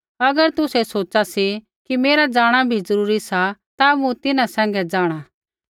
अगर तुसै सोचा सी कि मेरा जाँणा भी ज़रूरी सा ता मूँ तिन्हां सैंघै जाँणा